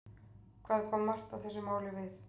Hvað kom Marta þessu máli við?